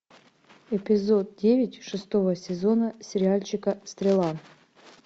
эпизод девять шестого сезона сериальчика стрела